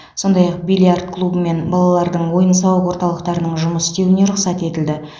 сондай ақ бильярд клубы мен балалардың ойын сауық орталықтарының жұмыс істеуіне рұқсат етілді